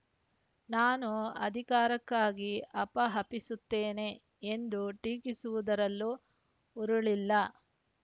ನಾನು ಅಧಿಕಾರಕ್ಕಾಗಿ ಹಪಾಹಪಿಸುತ್ತೇನೆ ಎಂದು ಟೀಕಿಸಿರುವುದರಲ್ಲೂ ಹುರುಳಿಲ್ಲ